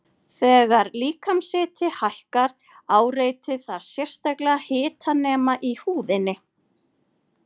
Þegar líkamshiti hækkar áreitir það sérstaka hitanema í húðinni.